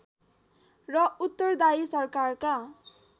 र उत्तरदायी सरकारका